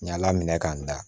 Ɲaa minɛ k'an da